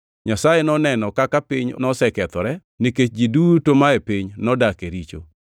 Nyasaye noneno kaka piny nosekethore, nikech ji duto mae piny nodak e richo.